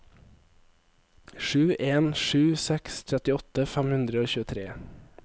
sju en sju seks trettiåtte fem hundre og tjuetre